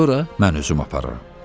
Sonra mən özüm apararam.